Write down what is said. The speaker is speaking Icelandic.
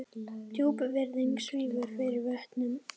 Djúp virðing svífur yfir vötnum.